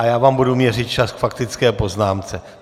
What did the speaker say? A já vám budu měřit čas k faktické poznámce.